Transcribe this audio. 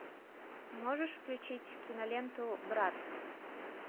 можешь включить киноленту брат